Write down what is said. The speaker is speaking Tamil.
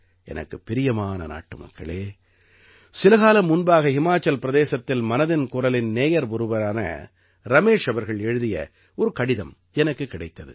எனக்குப் பிரியமான நாட்டுமக்களே சில காலம் முன்பாக ஹிமாச்சல் பிரதேசத்தில் மனதின் குரலின் நேயர் ஒருவரான ரமேஷ் அவர்கள் எழுதிய ஒரு கடிதம் எனக்குக் கிடைத்தது